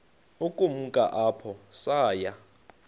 ukumka apho saya